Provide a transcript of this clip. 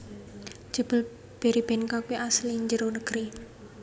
Jebul Berrybenka kui asli njero negeri